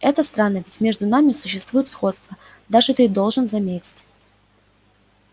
это странно ведь между нами существует сходство даже ты должен заметить